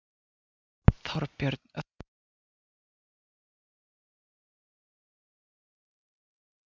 Þorbjörn Þórðarson: Hvað telur þú að sé mikilvægasta niðurstaða höfundanna?